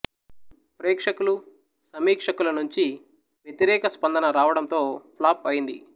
ప్రేక్షకులు సమీక్షకుల నుంచి వ్యతిరేక స్పందన రావడంతో ఫ్లాప్ అయింది